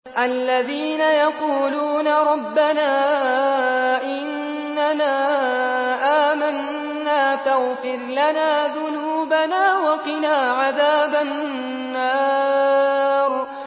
الَّذِينَ يَقُولُونَ رَبَّنَا إِنَّنَا آمَنَّا فَاغْفِرْ لَنَا ذُنُوبَنَا وَقِنَا عَذَابَ النَّارِ